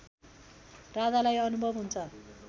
राजालाई अनुभव हुन्छ